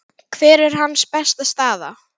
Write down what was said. Hver er hans besta staða?